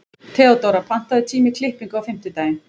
Theodóra, pantaðu tíma í klippingu á fimmtudaginn.